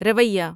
رویہ